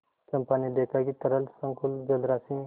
चंपा ने देखा कि तरल संकुल जलराशि में